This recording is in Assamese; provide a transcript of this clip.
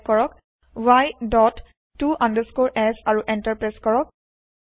টাইপ কৰক y ডট ত আণ্ডাৰস্কৰে f আৰু এন্টাৰ প্ৰেছ কৰক